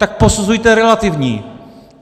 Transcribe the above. Tak posuzujte relativně.